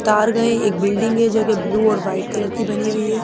तार गए एक बिल्डिंग है जो कि ब्लू और वाइट कलर की बनी हुई है।